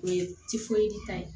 O ye ta ye